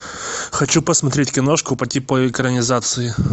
хочу посмотреть киношку по типу экранизации